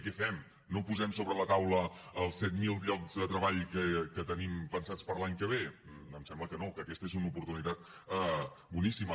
què fem no posem sobre la taula els set mil llocs de treball que tenim pensats per a l’any que ve em sembla que no que aquesta és una oportunitat boníssima